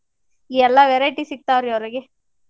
ಎಲ್ಲಾ variety ಸಿಗ್ತಾವ್ ರೀ ಅವ್ರಿಗೆ.